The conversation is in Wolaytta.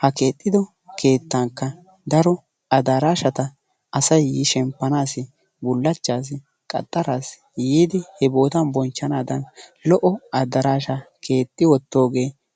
ha keexxiddo keettankka daro addaraashata asay yi shemppanaassi, bullaachchassi, qaxxaraassi yiidi boottan bonchchanaadan lo"o addaraashaa keexxi wottoogee...